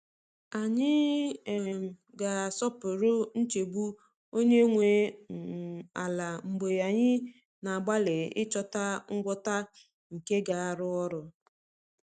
Anyị um ga-asọpụrụ nchegbu onye nwe um ala mgbe anyị na-agbalị ịchọta ngwọta nke ga-arụ ọrụ.